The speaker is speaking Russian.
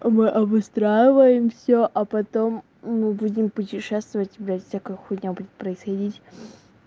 мы обустраиваем все а потом мы будем путешествовать без всякой хуйня будет происходить